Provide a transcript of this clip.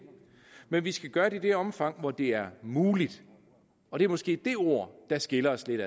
men vi skal gøre det i det omfang hvor det er muligt og det er måske de ord der skiller os lidt